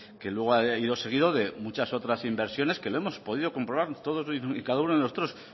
que luego ha ido seguido de muchas otras inversiones que lo hemos podido comprobar todos y cada uno de nosotros